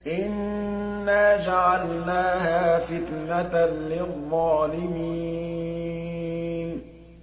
إِنَّا جَعَلْنَاهَا فِتْنَةً لِّلظَّالِمِينَ